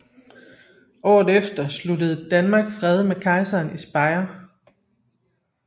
Året efter sluttede Danmark fred med kejseren i Speyer